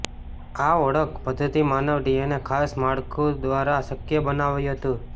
આ ઓળખ પદ્ધતિ માનવ ડીએનએ ખાસ માળખું દ્વારા શક્ય બનાવાયું હતું